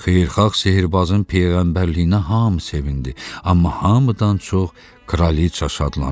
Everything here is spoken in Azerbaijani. Xeyirxah sehrbazın peyğəmbərliyinə hamı sevindi, amma hamıdan çox kraliqa şadlanırdı.